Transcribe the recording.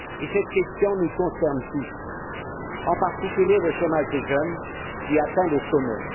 Cette question nous concerne tous et, en particulier, le chômage des jeunes qui atteint des sommets.